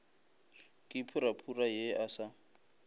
ke purapura ye a sa